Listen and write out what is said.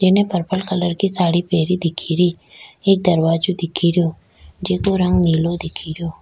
येने purple colour की साडी पहनी दिख री एक दरवाजो दिख रो जिको रंग नीलो दिख रो।